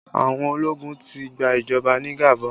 Àwọn ológun ti gba ìjọba ní Gabon